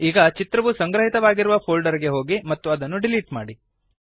ಈಗ ಚಿತ್ರವು ಸಂಗ್ರಹಿತವಾಗಿರುವ ಫೋಲ್ಡರ್ ಗೆ ಹೋಗಿ ಮತ್ತು ಅದನ್ನು ಡಿಲೀಟ್ ಮಾಡಿ